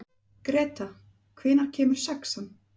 Greta, hvenær kemur sexan?